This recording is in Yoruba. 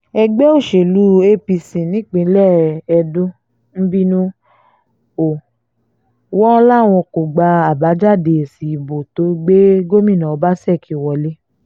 ẹgbẹ́ òsèlú apc nípínlẹ̀ edo ń bínú o wọn láwọn kò gba àbájáde èsì ìbò tó gbé gómìnà ọbaṣẹ́kí wọ̀lẹ̀